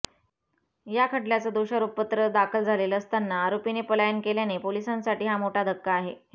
या खटल्याचं दोषारोपपत्र दाखल झालेलं असताना आरोपीने पलायन केल्याने पोलिसांसाठी हा मोठा धक्का आहे